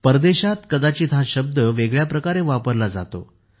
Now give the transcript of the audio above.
परदेशात कदाचित हा शब्द वेगळ्या प्रकारे वापरला जातो